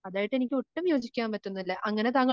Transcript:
അതായിട്ട് എനിക്ക് ഒട്ടും യോജിക്കാൻ പറ്റുന്നില്ല അങ്ങനെ